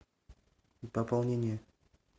пополнение